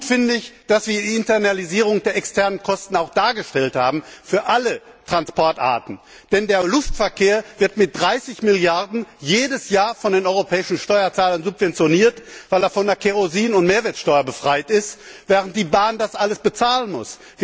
Gut finde ich, dass wir die Internalisierung der externen Kosten auch für alle Verkehrsarten dargestellt haben. Denn der Luftverkehr wird mit 30 Milliarden jedes Jahr von den europäischen Steuerzahlern subventioniert, weil er von der Kerosin und Mehrwertsteuer befreit ist, während die Bahn das alles bezahlen muss.